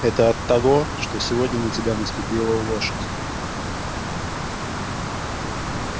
это оттого что сегодня на тебя наступила лошадь